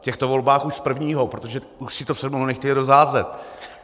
V těchto volbách už z prvního, protože už si to se mnou nechtěli rozházet.